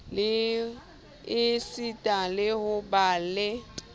esita le ho ba le